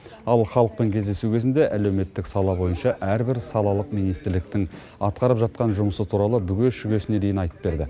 ал халықпен кездесу кезінде әлеуметтік сала бойынша әрбір салалық министрліктің атқарып жатқан жұмысы туралы бүге шүгесіне дейін айтып берді